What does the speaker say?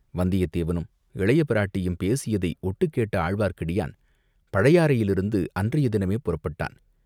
வந்தியத்தேவனும், இளையபிராட்டியும் பேசியதைக் ஒட்டுக் கேட்ட ஆழ்வார்க்கடியான் பழையாறையிலிருந்து அன்றைய தினமே புறப்பட்டான்.